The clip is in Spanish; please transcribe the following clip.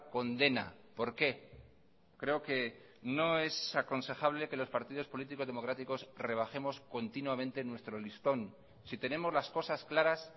condena por qué creo que no es aconsejable que los partidos políticos democráticos rebajemos continuamente nuestro listón si tenemos las cosas claras